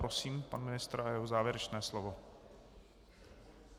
Prosím pan ministr a jeho závěrečné slovo.